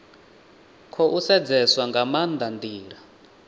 khou sedzeswa nga maanda ndila